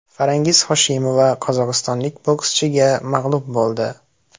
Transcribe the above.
Farangiz Hoshimova qozog‘istonlik bokschiga mag‘lub bo‘ldi.